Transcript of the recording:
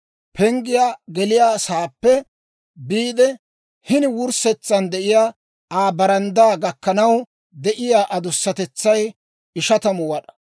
Penggiyaa geliyaa saappe biide, hini wurssetsan de'iyaa Aa baranddaa gakkanaw de'iyaa adusatetsay 50 wad'aa.